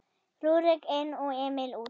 Rúrik inn og Emil út?